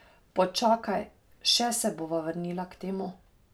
Počakaj, še se bova vrnila k temu.